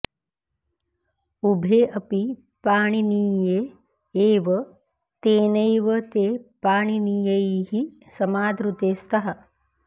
उभे अपि पाणिनीये एव तेनैव ते पाणिनीयैः समादृते स्तः